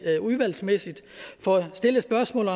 udvalgsmæssigt får stillet spørgsmål